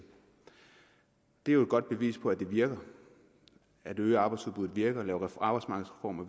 det er jo et godt bevis på at det virker at øge arbejdsudbudet virker at lave arbejdsmarkedsreformer